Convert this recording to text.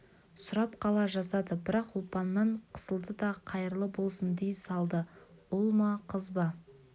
сұрап қала жаздады бірақ ұлпаннан қысылды да қайырлы болсын дей салды ұл ма қыз ба